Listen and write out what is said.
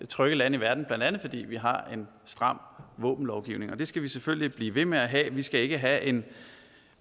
trygge lande i verden blandt andet fordi vi har en stram våbenlovgivning og det skal vi selvfølgelig blive ved med at have vi skal ikke have en